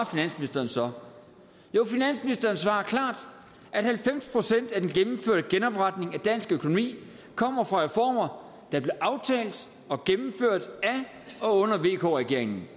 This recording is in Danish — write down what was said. finansministeren så jo finansministeren svarer klart at halvfems procent af den gennemførte genopretning af dansk økonomi kommer fra reformer der blev aftalt og gennemført af og under vk regeringen